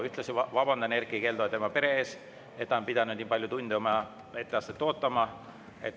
Ühtlasi vabandan Erkki Keldo ja tema pere ees, et ta on pidanud nii palju tunde oma etteastet ootama.